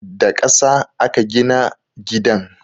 Da ƙasa aka gina gidan